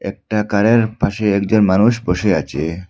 একটা কারের পাশে একজন মানুষ বসে আছে।